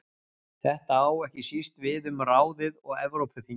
Þetta á ekki síst við um ráðið og Evrópuþingið.